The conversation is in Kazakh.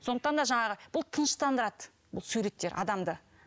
сондықтан да жаңағы бұл тыныштандырады бұл суреттер адамды